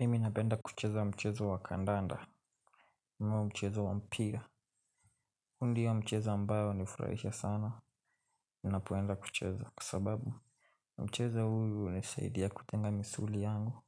Mimi napenda kucheza mchezo wa kandanda ama mchezo wa mpira hu ndio mchezo ambao nifurahisha sana. Minapoenda kucheza kwa sababu mchezo huyu unisaidia kutenga misuli yangu.